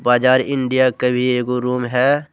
बाजार इंडिया का भी एगो रूम है।